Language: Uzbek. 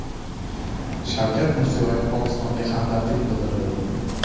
Shavkat Mirziyoyev Pokistonga hamdardlik bildirdi.